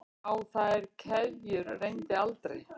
Á þær keðjur reyndi aldrei.